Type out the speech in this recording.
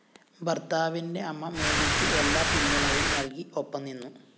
ഭര്‍ത്താവിന്റെ അമ്മ മേരിക്ക് എല്ലാ പിന്തുണയും നല്‍കി ഒപ്പം നിന്നു